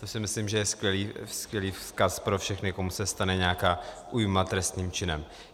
To si myslím, že je skvělý vzkaz pro všechny, komu se stane nějaká újma trestným činem.